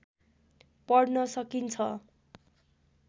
पढ्न सकिन्छ